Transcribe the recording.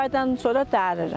Üç aydan sonra dəririk.